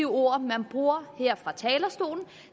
ord man bruger her fra talerstolen